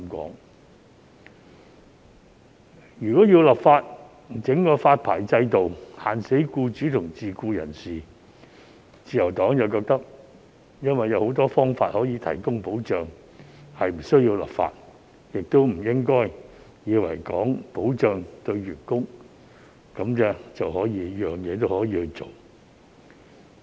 但是，關於立法設立發牌制度，硬性規限僱主和自僱人士，自由黨認為有很多方法可以提供保障，是無須立法的，也不應以為為了所謂保障員工，便甚麼也可以做。